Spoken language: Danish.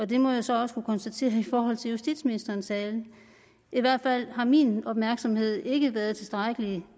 det må jeg så også kunne konstatere i forhold til justitsministerens tale i hvert fald har min opmærksomhed ikke været tilstrækkelig